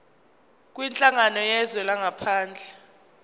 kwinhlangano yezwe langaphandle